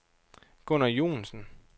Gunnar Joensen